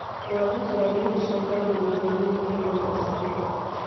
Kwaga toro nĩgũcũngagĩrĩria mĩrimũ wa meciria